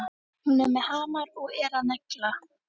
Hún er með hamar og er að negla.